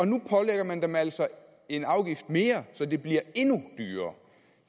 nu pålægger man dem altså en afgift mere så det bliver